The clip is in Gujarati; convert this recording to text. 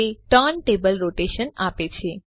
તે ટર્નટેબલ રોટેશન આપે છે